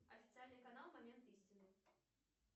официальный канал момент истины